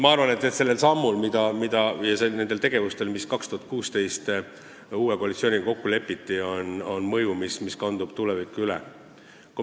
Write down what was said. Ma arvan, et sellel sammul ja nendel tegevustel, mis 2016. aastal uue koalitsiooniga kokku lepiti, on mõju, mis kandub tulevikku üle.